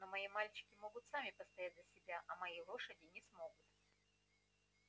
но мои мальчики могут сами постоять за себя а мои лошади не смогут